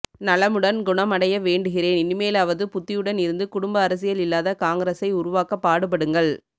நலமுடன் குணம் அடைய வேண்டுகிரேன் இனிமேலாவது புத்தியுடன் இருந்து குடும்ப அரசியல் இல்லாத காங்கிரஸ் ஐ உருவாக்க பாடுபடுங்கள்